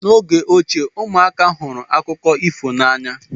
N'oge ochie, ụmụaka hụrụ akụkọ ifo n'anya.